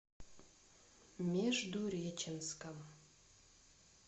междуреченском